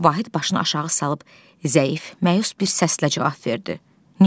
Vahid başını aşağı salıb zəif, məyus bir səslə cavab verdi.